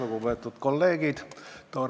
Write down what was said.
Lugupeetud kolleegid!